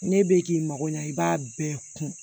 Ne bɛ k'i mago ɲa i b'a bɛɛ kun